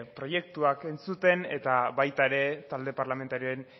proiektuak entzuten eta baita ere talde parlamentarioen